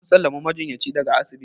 an sallami majinyacin daga asibiti